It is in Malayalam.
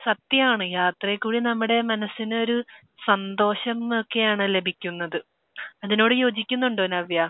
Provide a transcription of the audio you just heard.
സത്യമാണ് യാത്രയിൽ കൂടെ നമ്മുടെ മനസ്സിനൊരു സന്തോഷമൊക്കെയാണ് ലഭിക്കുന്നത്. അതിനോട് യോജിക്കുന്നുണ്ടോ നവ്യ?